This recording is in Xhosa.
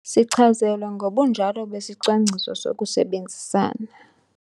Sichazelwe ngobunjalo besicwangciso sokusebenzisana.